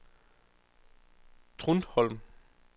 Trundholm